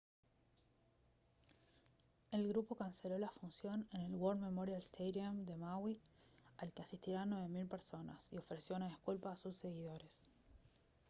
el grupo canceló la función en el war memorial stadium de maui al que asistirían 9000 personas y ofreció una disculpa a sus seguidores